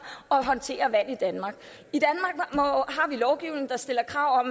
og håndterer vand i danmark har vi lovgivning der stiller krav